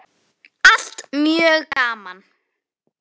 Allt mjög gaman.